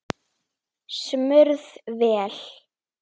Smurð vél.